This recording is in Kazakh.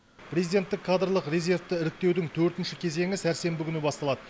президенттік кадрлық резервті іріктеудің төртінші кезеңі сәрсенбі күні басталады